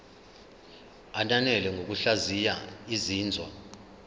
ananele ngokuhlaziya izinzwa